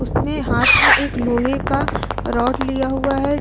उसने हाथ में एक लोहे का राॅड़ लिया हुआ है।